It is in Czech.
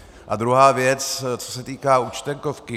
A druhá věc, co se týká Účtenkovky.